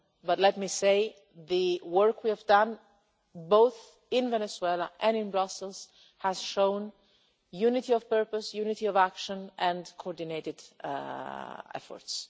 But let me say, the work we have done both in Venezuela and in Brussels has shown unity of purpose, unity of action and coordinated efforts.